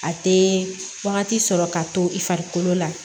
A tɛ wagati sɔrɔ ka to i farikolo la